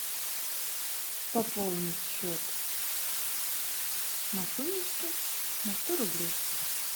пополнить счет машунечьки на сто рублей